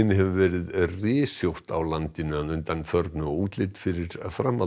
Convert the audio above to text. hefur verið rysjótt á landinu að undanförnu og útlit fyrir framhald